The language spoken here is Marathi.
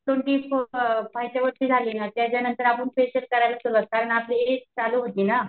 त्याच्यानांतर आपण फेशिअल करायला सुरुवात करणार कारण आपली चालू होती ना